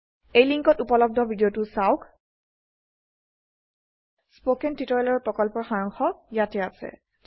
তলৰ সংযোগত থকা ভিদিয়তো চাওক httpspoken tutorialorgWhat is a Spoken Tutorial spoken tutorial প্ৰকল্পৰ সাৰাংশ ইয়াতে আছে